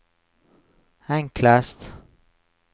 enklest